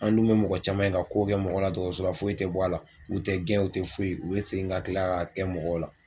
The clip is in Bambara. An dun be mɔgɔ caman ye ka k'o kɛ mɔgɔ la dɔgɔtɔsɔrɔ la foyi te bɔ a la u tɛ gɛn u te foyi u be segin ka kila k'a kɛ mɔgɔw la